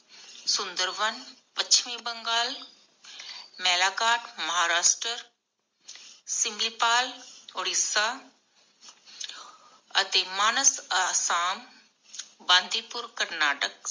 ਸੁੰਦਰਬੰਦ ਪਸ਼ਚਿਮੀ ਬੰਗਾਲ, ਮੈਲਾਕਾਟ ਮਹਾਰਾਸ਼ਟਰਾ, ਸਿਮਿਪਾਲ ਉੜੀਸਾ ਅਤੇ ਮਾਨਸ ਅਸਾਮ, ਬੰਦੀਪੁਰ ਕਰਨਾਟਕ